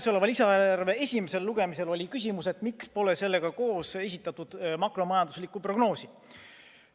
Selle lisaeelarve esimesel lugemisel oli küsimus, miks pole sellega koos esitatud makromajanduslikku prognoosi.